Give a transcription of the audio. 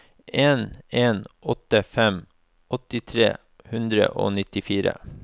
en en åtte fem åtti tre hundre og nittifire